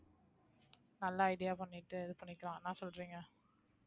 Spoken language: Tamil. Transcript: நல்ல idea பண்ணிட்டு இது பண்ணிக்கலாம் என்ன சொல்றீங்க